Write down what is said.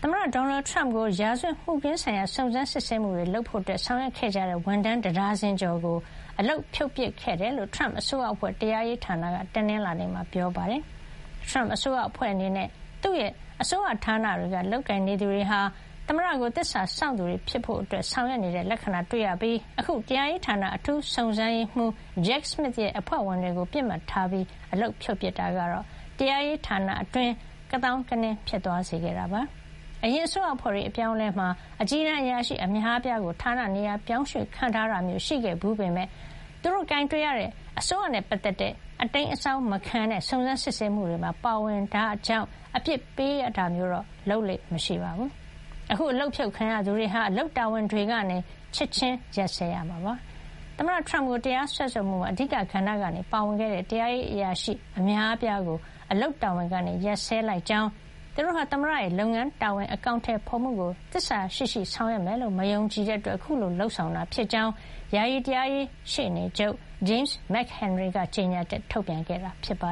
မတဒေါ်နယ်ထရမ့် ကို ရာဇဝတ်မှုခင်းဆိုင်ရာ စုံစမ်း စစ်ဆေးမှုတွေ လုပ်ဖို့ ဆောင်ရွက်ခဲ့ကြတဲ့ ဝန်ထမ်း တဒါဇင်ကျော်ကို အလုပ်ဖြုတ်ပစ်ခဲ့ တယ်လို့ ထရမ့်အစိုးရအဖွဲ့ တရားရေးဌာနက တနင်္လာနေ့က ပြောပါတယ်။ ထရမ့်အစိုးရ အဖွဲ့အနေနဲ့ သူ့ရဲ့အစိုးရဌာနတွေမှာ လုပ်ကိုင်နေသူတွေဟာ သမ္မတကို သစ္စာစောင့်သူတွေ ဖြစ်ဖို့ ဆောင်ရွက်နေတဲ့ လက္ခဏာတွေ့ရပြီး အခု တရားရေးဌာန အထူးစုံစမ်းရေးမှုး Jack Smith ရဲ့ အဖွဲ့ဝင်တွေကို ပစ်မှတ်ထားပြီး အလုပ်ဖြုတ်ပစ်တာကတော့ တရားရေးဌာနအတွင်း ကသောင်းကနင်း ဖြစ်သွားစေတာပါ။ အရင်အစိုးရအဖွဲ့တွေ အပြောင်းအလဲမှာ အကြီးတန်း အရာရှိ အများအပြားကို ဌာနနေရာ ပြောင်းရွှေ့ခန့်ထားတာမျိုး ရှိခဲ့ ဘူးပေမယ့်၊ သူတို့ကိုင်တွယ်ရတဲ့ အစိုးရနဲ့ ပတ်သက်တဲ့ အတိမ်းအစောင်း မခံတဲ့ စုံစမ်းစစ်ဆေးမှု တွေမှာ ပါဝင်ရတာကြောင့် အပြစ်ပေး တာမျိုးတော့ လုပ်လေ့ မရှိပါဘူး။ အခု အလုပ်ဖြုတ်ခံရသူတွေဟာ အလုပ်တာဝန် တွေကနေ ချက်ချင်း ရပ်စဲ ရမှာ ဖြစ်ပါတယ်။ သမ္မတထရမ့်ကို တရားစွဲဆိုမှုမှာ အဓိက ကဏ္ဍကနေ ပါဝင်ခဲ့တဲ့ တရားရေးအရာရှိ အများအပြားကို အလုပ်တာဝန်ကနေ ရပ်စဲလိုက်ကြောင်း သူတို့ဟာ သမ္မတရဲ့ လုပ်ငန်း တာဝန်အကောင်ထည် ဖေါ်မှုကို သစ္စာရှိရှိ ဆောင်ရွက်မယ်လို့ မယုံကြည်တဲ့ အတွက် အခုလို လုပ်ဆောင်တာ ဖြစ်ကြောင်း ယာယီ တရားရေးရှေ့နေချုပ် James McHenry က ကြေညာချက် ထုတ်ပြန်ခဲ့တာပါ